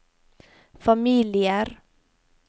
familier